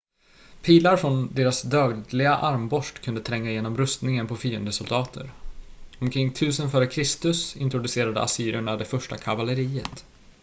pilar från deras dödliga armborst kunde tränga igenom rustningen på fiendesoldater omkring 1000 f.kr introducerade assyrerna det första kavalleriet